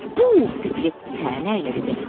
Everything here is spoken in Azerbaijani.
Pux, Piqlet tənə ilə dedi.